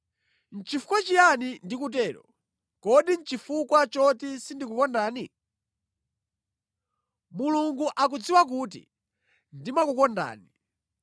Nʼchifukwa chiyani ndikutero? Kodi nʼchifukwa choti sindikukondani? Mulungu akudziwa kuti ndimakukondani!